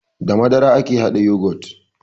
Da madara ake haɗa yagot